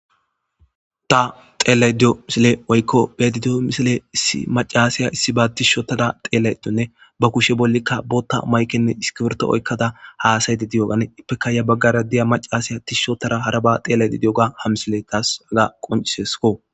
ta teellay diyo misile woykko beti diyo misile iimacasiya issi ba tishotada xeelayetonne ba kushe bollikka bootta maykenne iskiberto oykkada haasayti diyogane ippeka ya baggara diya macasiya tishshotara haraba xeelayti diyoga hamsile taasaga qoncisesko